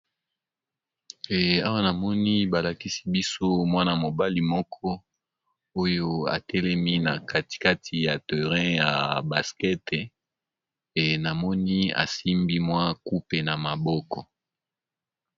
Awa namoni balakisi biso mwana mobali moko oyo atelemi na katikati ya terrein ya baskete e namoni asimbi mwa kupe na maboko.